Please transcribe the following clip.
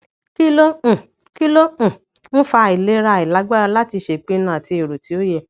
kí ló um kí ló um ń fa àìlera ailagbára láti ṣèpinnu àti èrò ti o ye